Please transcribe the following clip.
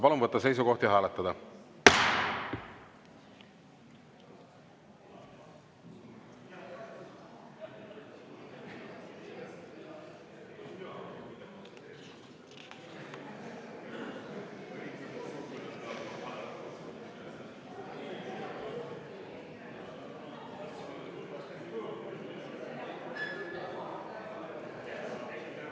Palun võtta seisukoht ja hääletada!